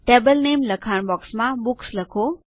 table નામે લખાણ બોક્સમાં બુક્સ લખો